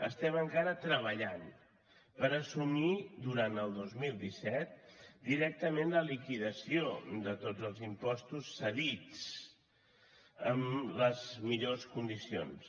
estem encara treballant per assumir durant el dos mil disset directament la liquidació de tots els impostos cedits en les millors condicions